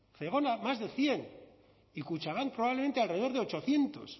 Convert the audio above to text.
más de cien y kutxabank probablemente alrededor de ochocientos